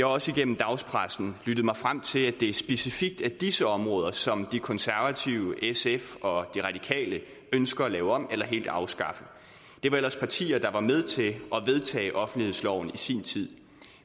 også igennem dagspressen lyttet mig frem til at det specifikt er disse områder som de konservative sf og de radikale ønsker at lave om eller helt afskaffe det var ellers partier der var med til at vedtage offentlighedsloven i sin tid